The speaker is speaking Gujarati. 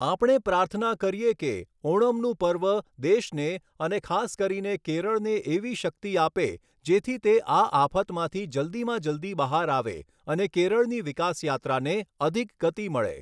આપણે પ્રાર્થના કરીએ કે, ઓણમનું પર્વ દેશને અને ખાસ કરીને કેરળને એવી શક્તિ આપે જેથી તે આ આફતમાંથી જલ્દીમાં જલ્દી બહાર આવે અને કેરળની વિકાસયાત્રાને અધિક ગતિ મળે.